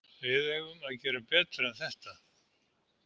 Við eigum að gera betur en þetta.